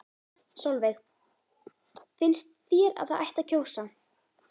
Sólveig: Finnst þér að það ætti að kjósa?